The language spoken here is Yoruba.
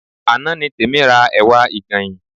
Àná ni Tèmi ra ẹ̀wà ìgànyìn